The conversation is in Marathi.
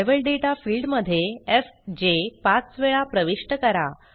लेव्हल दाता फील्ड मध्ये एफजे पाच वेळा प्रविष्ट करा